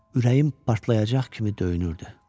ürəyim partlayacaq kimi döyünürdü.